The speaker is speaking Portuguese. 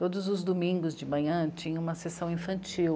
Todos os domingos de manhã tinha uma sessão infantil.